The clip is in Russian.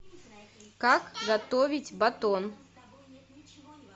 как готовить батон